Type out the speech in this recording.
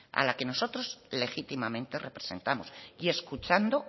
a la que nosotros legítimamente representamos y escuchando